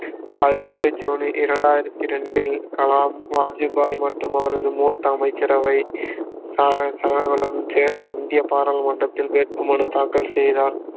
பதனெட்டு June இரண்டாயிரத்தி ரெண்டில் கலாம் வாஜ்பாய் மற்றும் அவரது மூத்த அமைச்சரவை சகாக்களுடன் சேர்ந்து இந்திய பாராளுமன்றத்தில் வேட்பு மனு தாக்கல் செய்தார்